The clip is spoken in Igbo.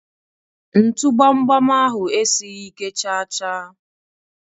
ntu gbam gbam ahụ esighị ike chaa chaa.